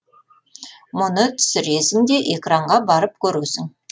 мұны түсіресің де экранға барып көресің